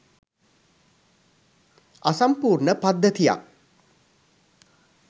අසම්පූර්ණ පද්ධතියක්